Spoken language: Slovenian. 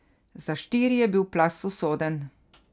Za štiri je bil plaz usoden.